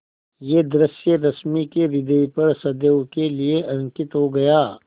यह दृश्य रश्मि के ह्रदय पर सदैव के लिए अंकित हो गया